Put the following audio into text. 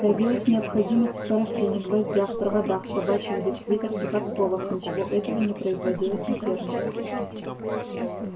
появилась необходимость в парафине гвоздях проводах собачьих бисквитах и подковах ничего этого не производилось на ферме